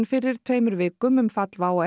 fyrir tveimur vikum um fall WOW